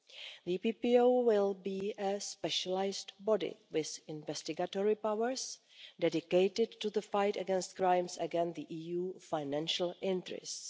The EPPO will be a specialised body with investigatory powers dedicated to the fight against crimes against the EU's financial interests.